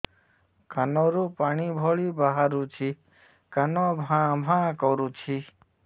କାନ ରୁ ପାଣି ଭଳି ବାହାରୁଛି କାନ ଭାଁ ଭାଁ କରୁଛି